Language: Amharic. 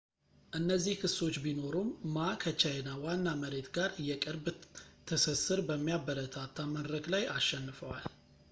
እነዚህ ክሶች ቢኖሩም ማ ከቻይና ዋና መሬት ጋር የቅርብ ትስስር በሚያበረታታ መድረክ ላይ አሸንፈዋል